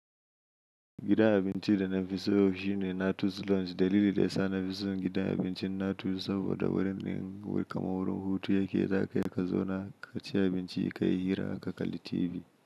Gidan abincida nafiso shine Na21. Dalili da yasa nafison gidan abincin Na21 saboda wurin yin kamar wurin hutu yake zakayi ka zauna ka ci abinci ka yi hira ka kalli TV.